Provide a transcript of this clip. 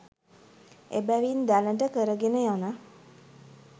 එබැවින් දැනට කරගෙන යන